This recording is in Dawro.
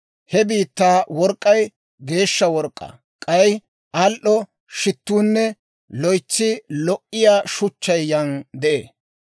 He biittaa work'k'ay geeshsha work'k'aa; k'ay al"o shittuunne loytsi lo"iyaa shuchchay yan de'ee.